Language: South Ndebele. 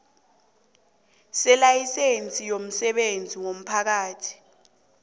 selayisense yomsebenzi womphakathi